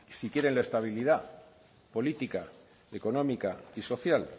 si quieren estabilidad política económica y social